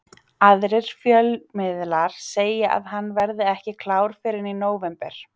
Aðrir fjölmiðlar segja að hann verði ekki klár fyrr en í nóvember.